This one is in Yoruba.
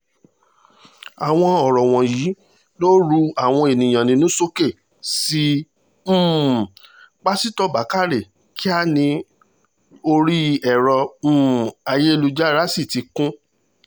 àwọn ọ̀rọ̀ wọ̀nyí ló ru àwọn èèyàn nínú sókè sí um pásítọ̀ bàkárẹ́ kíá ni orí ẹ̀rọ um ayélujára sì ti kún